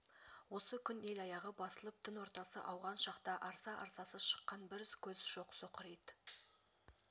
осы күн ел аяғы басылып түн ортасы ауған шақта арса-арсасы шыққан бір көз жоқ соқыр ит